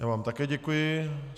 Já vám také děkuji.